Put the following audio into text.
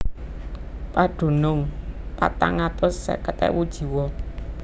Padunung patang atus seket ewu jiwa